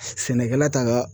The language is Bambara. Sɛnɛkɛla t'a ka